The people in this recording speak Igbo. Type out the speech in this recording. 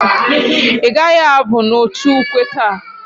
I gaghi abu n'otu ukwe taa?